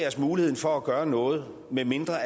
os muligheden for at gøre noget medmindre